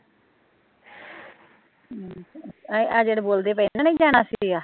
ਆਹ ਜਿਹੜੇ ਬੋਲਦੇ ਪਏ ਇਹਨੇ ਜਾਣਾ ਸੀਗਾ